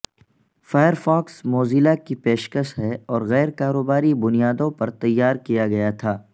Firefox Mozilla کی پیشکش ہے اور غیر کاروباری بنیادوں پر تیارکیاگیاتھا